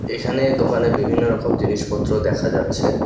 এখানে দোকানে বিভিন্ন রকম জিনিসপত্র দেখা যাচ্ছে।